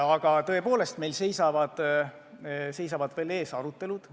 Aga tõepoolest, meil seisavad veel arutelud ees.